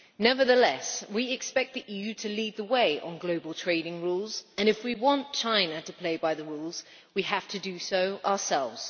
Nevertheless, we expect the EU to lead the way on global trading rules and if we want China to play by the rules we have to do so ourselves.